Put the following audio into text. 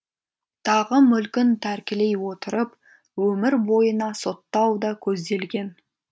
тағы мүлкін тәркілей отырып өмір бойына соттау да көзделген